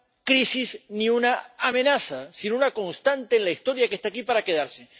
crisis, ni una amenaza, sino una constante en la historia que está aquí para quedarse.